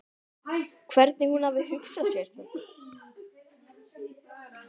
Hvernig hún hafi hugsað sér þetta.